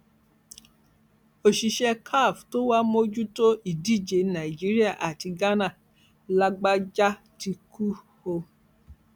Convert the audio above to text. òṣìṣẹ caf tó wàá mójútó ìdíje nàíjíríà àti ghana làbájá ti kú o